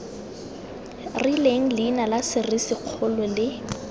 rileng leina la serisikgolo le